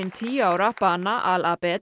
tíu ára bana al